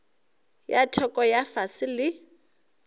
ya theko ya fase le